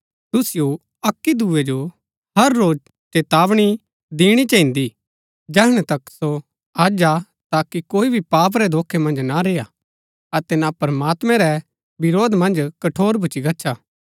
तुसिओ अक्की दूये जो हर रोज चेतावनी दिणा चहिन्दा जैहणै तक सो अज हा ताकि कोई भी पाप रै धोखै मन्ज ना रेय्आ अतै ना प्रमात्मैं रै विरोध मन्ज कठोर भूच्ची गच्छा